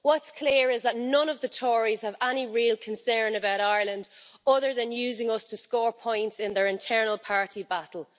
What's clear is that none of the Tories have any real concern about Ireland other than using us to score points in their internal party battle.